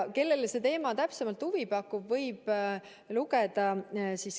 Kellele see teema täpsemalt huvi pakub, võib lugeda.